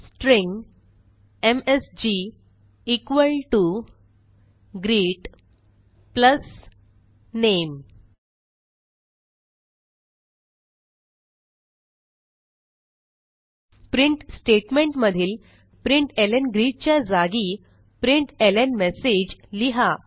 string MSG equal to greet plus name print statement मधील println च्या जागी println message लिहा